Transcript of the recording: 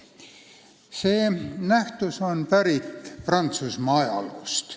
See pruuk on pärit Prantsusmaalt.